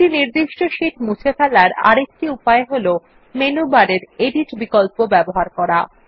একটি নির্দিষ্ট শিট মুছে ফেলার আরেকটি উপায় হল মেনু বারের এডিট বিকল্প ব্যবহার করা